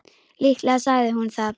Líklega sagði hún það.